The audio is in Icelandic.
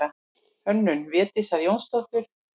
Hönnun Védísar Jónsdóttur.